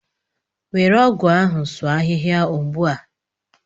Were ọgụ ahụ sụọ ahihia ugbua!